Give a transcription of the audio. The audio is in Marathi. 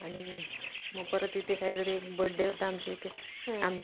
अशी सगळी जी प्रथा असते, ते सगळं पार पाडून आणि मग त्याला